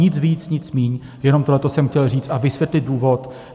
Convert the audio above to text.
Nic víc, nic míň, jenom tohle jsem chtěl říct a vysvětlit důvod.